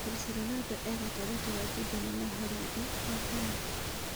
Kris Ronando e-gatagatĩ wa Njubena na Horadi, wa kana: